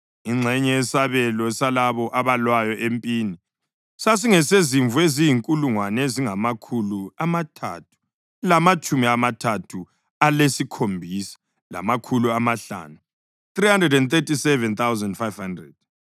Ingxenye yesabelo salabo abalwayo empini: sasingesezimvu eziyizinkulungwane ezingamakhulu amathathu lamatshumi amathathu alesikhombisa, lamakhulu amahlanu (337,500),